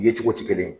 Ye cogo tɛ kelen ye